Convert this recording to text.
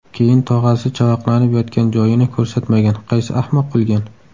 Keyin tog‘asi chavaqlanib yotgan joyini ko‘rsatmagan, qaysi ahmoq qilgan?!